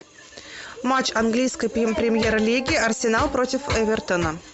матч английской премьер лиги арсенал против эвертона